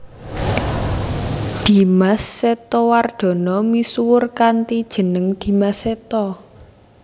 Dimas Setowardana misuwur kanthi jeneng Dimas Seto